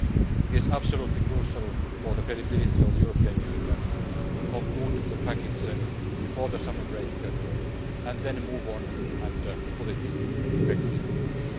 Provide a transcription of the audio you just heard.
still ongoing. It is absolutely crucial for the credibility of the European Union to conclude the package before the summer break, and then move on and put it into effective use.